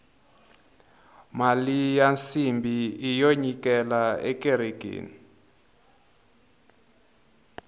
mali ya nsimbhi iyo nyikela ekerekeni